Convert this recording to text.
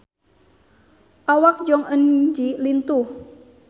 Awak Jong Eun Ji lintuh